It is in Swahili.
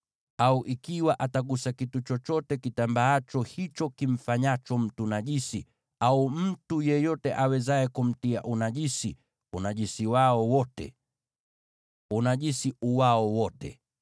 au ikiwa atagusa kitu chochote kitambaacho kimfanyacho mtu najisi, au mtu yeyote awezaye kumtia unajisi, hata unajisi uwe gani.